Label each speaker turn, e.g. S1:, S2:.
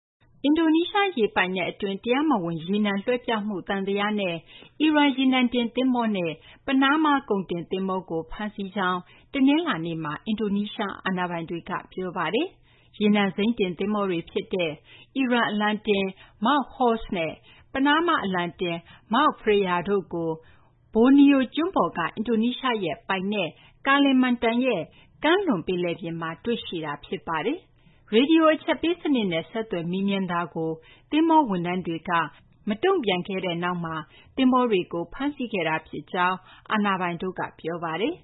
S1: အင်ဒိုနီးရှားရေပိုင်နက် အတွင်း တရားမဝင် ရေနံ လွှဲပြောင်းမှု သံသယနဲ့ အီရန် ရေနံတင် သဘောၤနဲ့ ပနားမား ကုန်တင် သဘောၤကို ဖမ်းဆီးကြောင်း တနလာၤနေ့မှာ အင်ဒိုနီးရှား အာဏာပိုင်တွေက ပြောပါတယ်။ ရေနံစိမ်းတင် သဘောၤတွေ ဖြစ်တဲ့ အီရန် အလံတင် MT Horse နဲ့ ပနားမား အလံတင် MT Freya တို့ကို Borneo ကျွန်းပေါ်က အင်ဒိုနီးရှား နိုင်ငံပိုင်နက် Kalimantan ရဲ့ ကမ်းလွန်ပင်လယ်ပြင်မှာ တွေ့ရှိခဲ့တာ ဖြစ်ပါတယ်။ ရေဒီယို အချက်ပေး စနစ်နဲ့ ဆက်သွယ် မေးမြန်းမှုကို သဘောၤဝန်ထမ်းတွေက မတုံ့ပြန်ခဲ့တဲ့နောက်မှာ သဘောၤတွေကို ဖမ်းဆီးခဲ့တာဖြစ်ကြောင်း အာဏာပိုင်တို့က ပြောပါတယ်